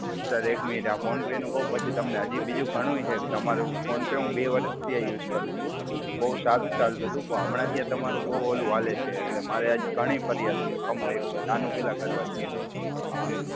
Sir, એક minute આ PhonePe નું કહું પછી તમને હજી બીજું ઘણું છે કે તમારું ફોન પે હું બે વર્ષથી આ યુઝ કરું છું. બહુ સારું ચાલતું હતું. પણ હમણાંથી આ તમારું બહુ ઓલું હાલે છે. એટલે મારે આજ ઘણી ફરિયાદો છે. ખમો એક મિનિટ આનું પહેલા કરવા દ્યો. હા.